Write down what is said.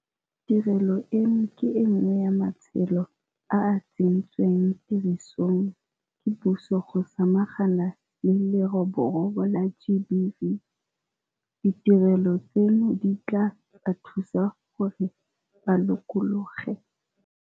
Tirelo eno ke e nngwe ya matsholo a a tsentsweng tirisong ke puso go samagana le leroborobo la GBV. Ditirelo tseno di tla ba thusa gore ba lokologe.